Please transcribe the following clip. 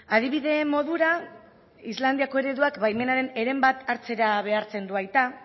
adibide modura islandiako ereduak baimenaren heren bat hartzera behartzen du aita